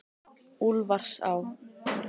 Úlfarsá